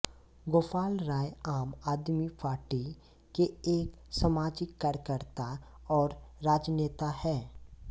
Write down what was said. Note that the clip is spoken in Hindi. गोपाल राय आम आदमी पार्टी के एक सामाजिक कार्यकर्ता और राजनेता हैं